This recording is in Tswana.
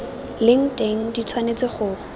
leng teng di tshwanetse go